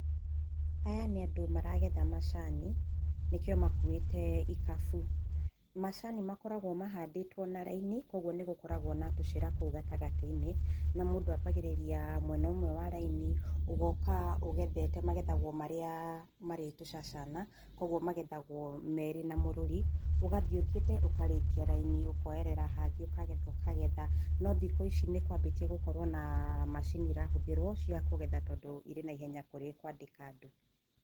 Aya nĩ andũ maragetha macani nĩkĩo makuĩte ikabu. Macani makoragwo mahandĩtwo na raini, koguo nĩgũkoragwo na tũcĩra kũu gatagatĩ-inĩ na mũndũ ambagĩrĩria na mwena ũmwe wa raini, ũgoka ũgethete. Magethagwo marĩa marĩ tũcacana, koguo magethagwo merĩ na mũrũri, ũgathiĩ ũthiĩte ũkarĩkia raini, ũkoerera hangĩ ũkagetha ũkagetha, no thikũ ici nĩkwambĩtie gũkorwo na macini irahũthĩrwo cia kũgetha tondũ irĩ na ihenya kũrĩ kwandĩka andũ.